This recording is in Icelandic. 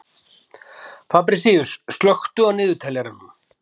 Fabrisíus, slökktu á niðurteljaranum.